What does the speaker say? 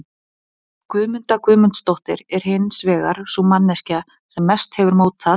Guðmunda Guðmundsdóttir, er hins vegar sú manneskja sem mest hefur mótað